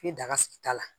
I bɛ daga sigi ta la